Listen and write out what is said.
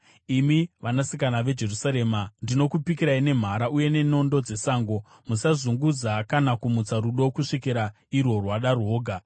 Imi vanasikana veJerusarema ndinokupikirai nemhara uye nenondo dzesango: Musazunguza kana kumutsa rudo kusvikira irwo rwada rwoga.